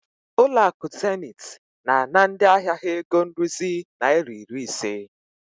Zenith Bank is charging their customers fifty naira maintenance fee.